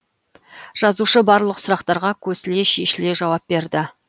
жазушы барлық сұрақтарға көсіле шешіле жауап берді